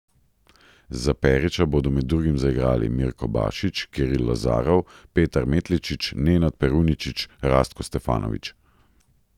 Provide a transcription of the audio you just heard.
Za Perića bodo med drugim zaigrali Mirko Bašić, Kiril Lazarov, Petar Metličić, Nenad Peruničić, Rastko Stefanović ...